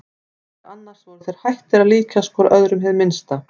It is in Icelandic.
Meðal annars voru þeir hættir að líkjast hvor öðrum hið minnsta.